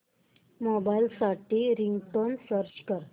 mobile साठी ringtone search कर